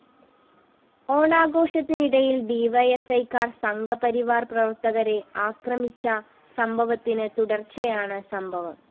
ഓണാഘോഷത്തിനിടയില്‍ ഡിവൈഎഫ്‌ഐക്കാര്‍ സംഘപരിവാര്‍ പ്രവര്‍ത്തകരെ അക്രമിച്ച സംഭവത്തിന് തുടര്‍ച്ചയായാണ് സംഭവം